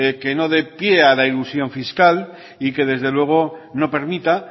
que no dé pie a la elusión fiscal y que desde luego no permita